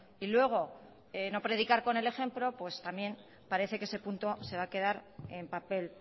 y luego no predicar con el ejemplo pues también parece que ese punto se va a quedar en papel